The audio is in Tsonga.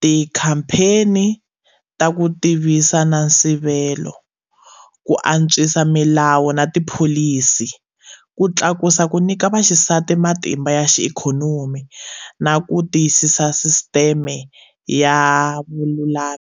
tikhampheni ta ku tivisa na nsivelo, ku antswisa milawu na tipholisi, ku tlakusa ku nyika vaxisati matimba ya xiikhonomi, na ku tiyisa sisiteme ya vululami.